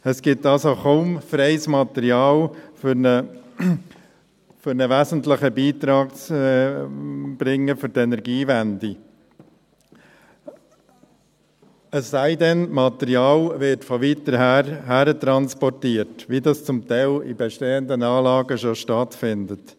Es gibt also kaum freies Material für einen wesentlichen Beitrag an die Energiewende, es sei denn, Material werde von weiter weg hertransportiert, wie dies zum Teil bei bestehenden Anlagen schon stattfindet.